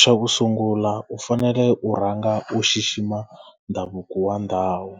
xa ku sungula u fanele u rhanga u xixima ndhavuko wa ndhawu.